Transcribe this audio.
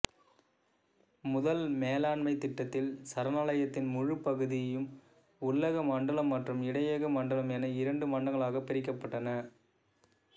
முதல் மேலாண்மைத் திட்டத்தில் சரணாலயத்தின் முழுப் பகுதியும் உள்ளக மண்டலம் மற்றும் இடையக மண்டலம் என இரண்டு மண்டலங்களாகப் பிரிக்கப்பட்டன